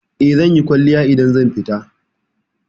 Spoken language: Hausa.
Eh, zanyi kwalliya idan zan fita.